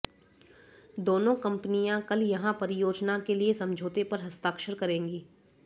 दोनों कंपनियां कल यहां परियोजना के लिए समझौते पर हस्ताक्षर करेगी